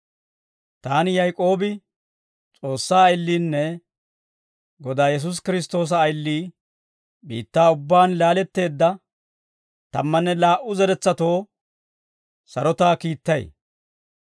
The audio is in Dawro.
Taani Yaak'oobi S'oossaa ayiliinne Godaa Yesuusi Kiristtoosa ayilii, biittaa ubbaan laaletteedda tammanne laa"u zeretsatoo sarotaa kiittay.